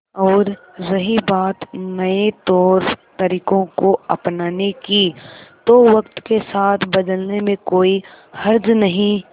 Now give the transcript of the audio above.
और रही बात नए तौरतरीकों को अपनाने की तो वक्त के साथ बदलने में कोई हर्ज नहीं